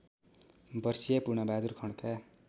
वर्षीय पूर्णबहादुर खड्का